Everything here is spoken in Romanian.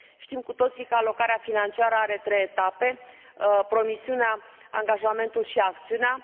Știm cu toții că alocarea financiară are trei etape promisiunea, angajamentul și acțiunea.